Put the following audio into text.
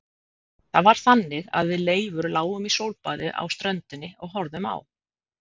Það var þannig að við Leifur lágum í sólbaði á ströndinni og horfðum á